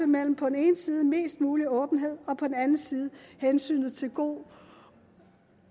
mellem på den ene side mest mulig åbenhed og på den anden side hensynet til god